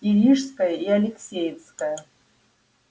и рижская и алексеевская